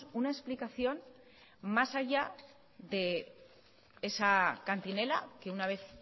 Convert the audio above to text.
una explicación más allá de esa cantinela que una vez